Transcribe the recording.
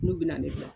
N'u bɛna ne gilan